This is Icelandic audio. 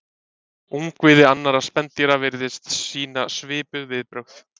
Ungviði annarra spendýra virðast sýna svipuð viðbrögð.